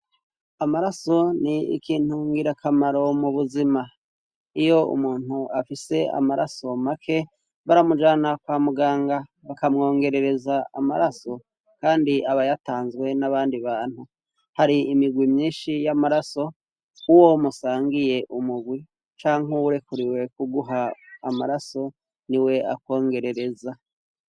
Amaraso ni ikintu ngirakamaro m'ubuzima. Iyo umuntu afise amaraso make baramujana kwamuganga bakamwongerereza amaraso, kandi aba yatanzwe n'abandi bantu. har'imigwi myinshi y'amaraso uwo musangiye umugwi canke uwurekuriwe kuguha amaraso niwe akongerereza.